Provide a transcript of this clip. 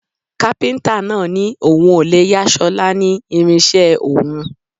Kápíntà náà ní òun ò lè yà ṣọlá ní irinṣẹ́ òun